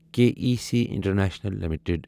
K E C international limited